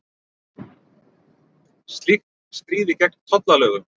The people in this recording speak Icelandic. Slíkt stríði gegn tollalögum